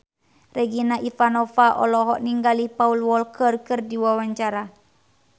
Regina Ivanova olohok ningali Paul Walker keur diwawancara